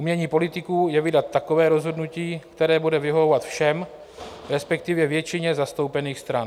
Umění politiků je vydat takové rozhodnutí, které bude vyhovovat všem, respektive většině zastoupených stran.